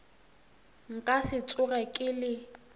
nka se tsoge ke le